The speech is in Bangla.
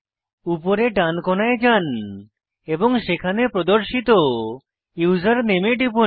উপরে ডান কোণায় যান এবং সেখানে প্রদর্শিত ইউসার নেমে টিপুন